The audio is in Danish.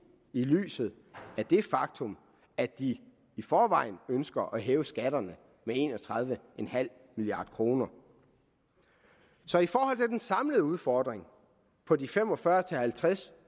i lyset af det faktum at de i forvejen ønsker at hæve skatterne med en og tredive milliard kroner så i forhold til den samlede udfordring på de fem og fyrre til halvtreds